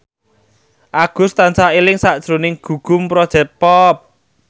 Agus tansah eling sakjroning Gugum Project Pop